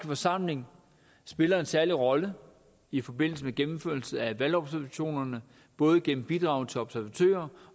forsamling spiller en særlig rolle i forbindelse med gennemførelse af valgobservationerne både igennem bidrag til observatører